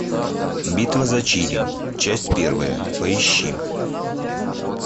битва за чили часть первая поищи